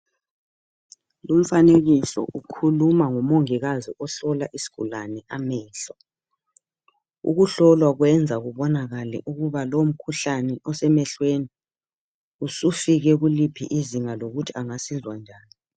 Lumfanekiso ukhuluma ngomongikazi ohlola isigulane amehlo. Ukuhlolwa kwenza kubonakale ukuba lowu mkhuhlane osemehlweni usufike kuliphi izinga lokuthi angasizwa njani.